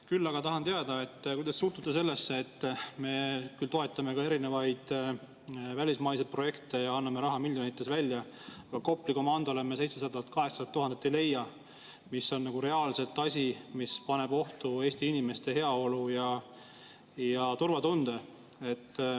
Küll aga tahan teada, kuidas te suhtute sellesse, et me toetame küll ka erinevaid välismaiseid projekte ja anname miljonites raha välja, aga Kopli komandole 700 000 – 800 000 ei leia, kuigi see on reaalselt asi, mis paneb ohtu Eesti inimeste heaolu ja turvatunde.